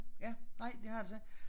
Ja nej det har jeg altså ikke